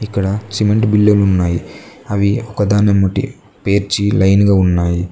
ఇక్కడ సిమెంట్ బిల్లులు ఉన్నాయి అవి ఒక్కదాన్నే ముడ్డి పేర్చి లైన్ గా ఉన్నాయి.